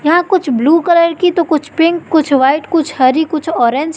यहां कुछ blue colour की तो कुछ पिंक कुछ व्हाइट कुछ हरी कुछ ऑरेंज --